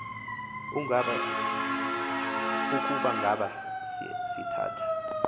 ukuba ngaba sithatha